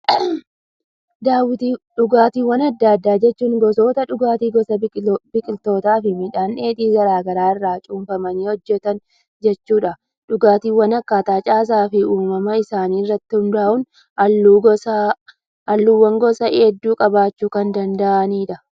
Dhugaatiiwwan addaa addaa jechuun, gosoota dhugaatii gosa biqiltootaa fi midhaan dheedhii garaagaraa irraa cuunfamanii hojjetan jechuudha. Dhugaatiiwwan akkaataa caasaa fi uumama isaa irratti hundaa'uun halluuwwan gosa hedduu qabaachuu kan danda'udha.